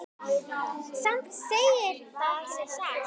Samt segir það sig sjálft.